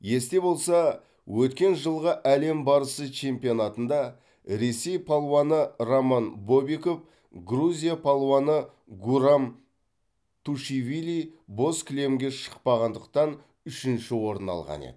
есте болса өткен жылғы әлем барысы чемпионатында ресей палуаны роман бобиков грузия палуаны гурам тушивили боз кілемге шықпағандықтан үшінші орын алған еді